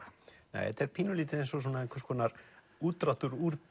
þetta er pínulítið eins og einhvers konar útdráttur úr